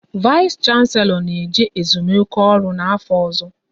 Vais Shanselo na eje ezumike ọrụ n'afọ ọzọ